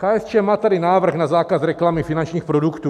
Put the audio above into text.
KSČM má tady návrh na zákaz reklamy finančních produktů.